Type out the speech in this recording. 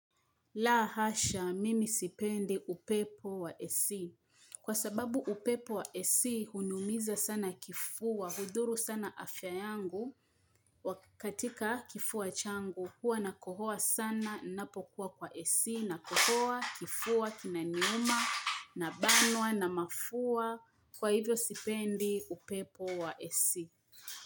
La hasha, mimi sipendi upepo wa AC. Kwa sababu upepo wa AC, hunimiza sana kifua, hudhuru sana afya yangu, wa katika kifua changu, hua nakohoa sana, napokuwa kwa AC, nakohoa, kifua, kinaniuma, nabanwa, na mafua, kwa hivyo sipendi upepo wa AC.